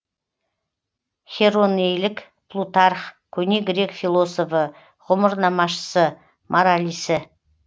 херонеилік плутарх көне грек философы ғұмырнамашысы моралисі